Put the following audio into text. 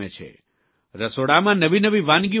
રસોડામાં નવી નવી વાનગીઓ બનાવે છે